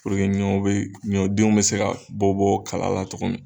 ɲɔw bɛ, ɲɔ denw bɛ se ka bɔ bɔ kala la togo min na.